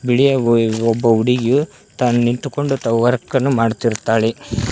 ಬಿಳಿಯ ಒಬ್ಬ ಹುಡುಗಿಯು ನಿಂತುಕೊಂಡು ವರ್ಕನ್ನು ಮಾಡುತ್ತಿದ್ದಾಳೆ.